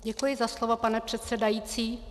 Děkuji za slovo, pane předsedající.